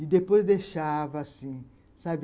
E depois deixava assim, sabe.